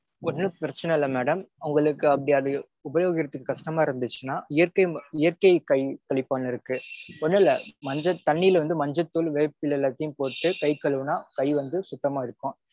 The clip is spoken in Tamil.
ஒன்னும் பிரச்சினை இல்ல madam. அவங்களுக்கு அப்டி அது உபயோகிக்கறதுக்கு கஷ்டமா இருந்துச்சுனா இயற்கை கை தெளிப்பான் இருக்கு. ஒன்னுமில்ல மஞ்ச தண்ணில வந்து மஞ்சள்தூள் வேப்பிலை எல்லாத்தையும் போட்டு கை கழுவினா கை வந்து சுத்தமா இருக்கும்.